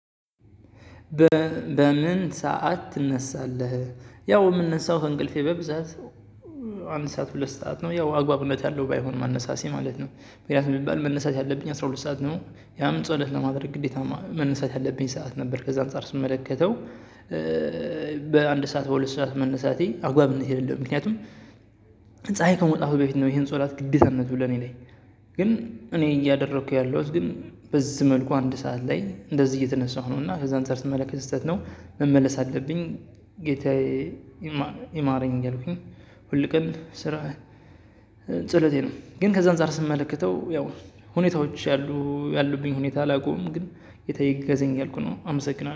በምን? ሰዓት ትነሳለህ ያው የምንነሳው ከእንቅልፌ በብዛት። አንድ ሰዓት ሁለት ሰዓት ነው ያው አግባብነት ያለው ባይሆንም አነሳሴ ማለት ነው። ምክንያቱም የሚባል መነሳት ያለብኝ አስራ ሁለት ሰዓት ነው። ያም ጸሎት ለማድረግ ግዴታ መንሳት ያለብኝ ሰዓት ነበር ከዛ አንፃር ስመለከተው። በአንድ ሰዓት በሁለት ሰዓት መነሳቴ አግባብነት የለለው ምክንያቱም ፀሀይ ከመውጣቱ በፊት ነው ይሄን ሶላት ግዴታነቱ ለኔ ላይ። ግን እኔ እያደረኩ ያለሁት ግን በዚህ መልኩ አንድ ሰዓት ላይ እንደዚህ እየተነሳሁ ነው። እና ከዛ እንደዚህ አንፃር ስመለከት ስህተት ነው መመለስ አለብኝ። ጌታዬ ይማረኝ እያልኩኝ ሁል ቀን ስራ ጸሎቴ ነው። ግን ከዛ አንፃር ስመለከተው ያው ሁኔታዎች ያሉ ያሉብኝ ሁኔታ አላውቀውም ግን ጌታየ እገዘኝ ያልኩነው አመሰግናለሁ